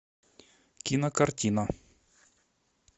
кинокартина